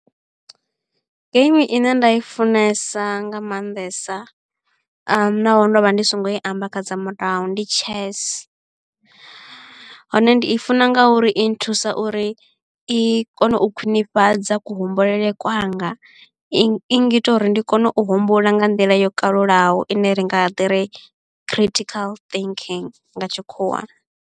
Game ine nda i funesa nga maanḓesa a naho ndo vha ndi songo i amba kha dza murahu ndi chess hone ndi i funa nga uri i nthusa uri i i kone u khwinifhadza ku humbulele kwanga i ngita uri ndi kone u humbula nga nḓila yo kalulaho ine ri nga ḓi ri critical thinking nga tshikhuwa.